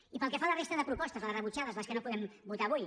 i pel que fa a la resta de propostes les rebutjades les que no podem votar avui